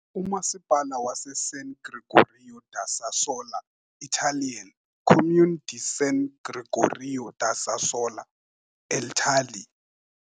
uMasipala waseSan Gregorio da Sassola, Italian - Comune di San Gregorio da Sassola, eItali .